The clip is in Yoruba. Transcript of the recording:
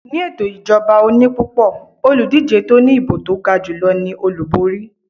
Ni ẹto ìjọba oní pupo, Olùdíje tó ní ìbò to gajulo ní Olúborí